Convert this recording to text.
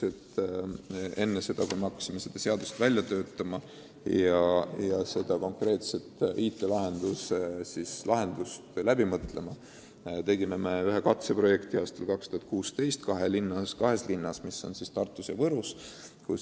Enne seda, kui me hakkasime seda seadust välja töötama ja konkreetset IT-lahendust läbi mõtlema, tegime ühe katseprojekti aastal 2016 kahes linnas, Tartus ja Võrus.